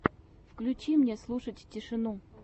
включи мне слушать тишину